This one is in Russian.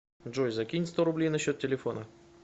джой закинь сто рублей на счет телефона